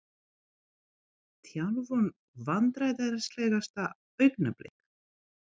Þjálfun Vandræðalegasta augnablik?